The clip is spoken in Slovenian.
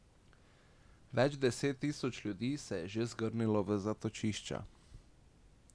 Več deset tisoč ljudi se je že zgrnilo v zatočišča.